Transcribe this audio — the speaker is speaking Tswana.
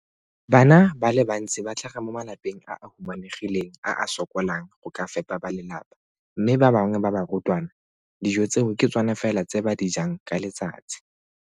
Bana ba le bantsi ba tlhaga mo malapeng a a humanegileng a a sokolang go ka fepa ba lelapa mme ba bangwe ba barutwana, dijo tseo ke tsona fela tse ba di jang ka letsatsi.